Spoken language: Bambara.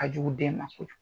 Ka jugu den ma